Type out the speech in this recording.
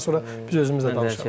Daha sonra biz özümüz də danışarıq.